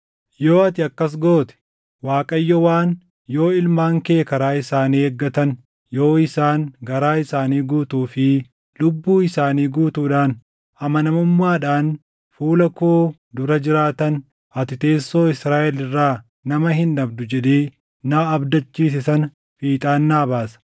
yoo ati akkas goote, Waaqayyo waan, ‘Yoo ilmaan kee karaa isaanii eeggatan, yoo isaan garaa isaanii guutuu fi lubbuu isaanii guutuudhaan amanamummaadhaan fuula koo dura jiraatan, ati teessoo Israaʼel irraa nama hin dhabdu’ jedhee na abdachiise sana fiixaan naa baasa.